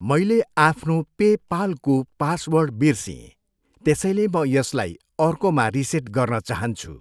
मैले आफ्नो पे पालको पासवर्ड बिर्सिएँ, त्यसैले म यसलाई अर्कोमा रिसेट गर्न चाहन्छु।